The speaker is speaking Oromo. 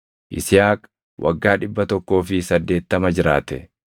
Yisihaaq waggaa dhibba tokkoo fi saddeettama jiraate.